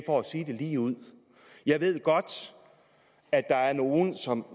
for at sige det ligeud jeg ved godt at der er nogle som